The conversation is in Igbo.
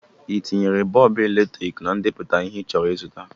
ị tinyere bọọbụ eletriki na ndepụta ihe ịchọrọ ịzụta?